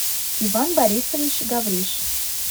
иван борисович гавриш